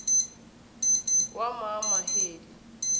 wamaheli